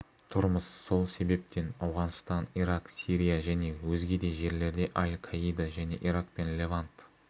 тұрмыз сол себептен ауғанстан ирак сирия және өзге де жерлерде аль-каида және ирак пен левант